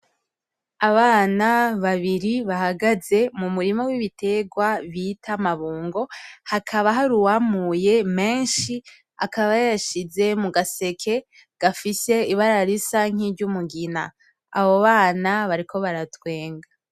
Abana babiri bahagaze mumurima wibiterwa bita amabungo hakaba hari uwamuye menshi akaba yayashize mugaseke gafise ibara risa niryumugina , abo bana bakaba bariko baratwenga .